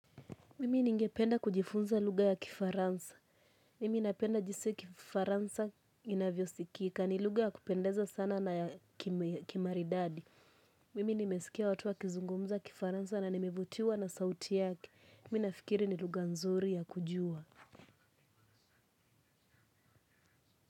Mimi ninge penda kujifunza lugha ya kifaransa. Mimi napenda jinsi kifaransa inavyo sikika. Ni lugha ya kupendeza sana na ya kimaridadi. Mimi nimesikia watu wa kizungumza kifaransa na nimevutiwa na sauti yake. Mimi nafikiri ni lugha nzuri ya kujua.